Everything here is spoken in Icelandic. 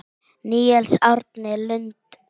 Níels Árni Lund.